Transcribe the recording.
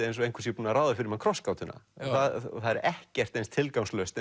eins og einhver sé búinn að ráða fyrir mann krossgátuna og það er ekkert eins tilgangslaust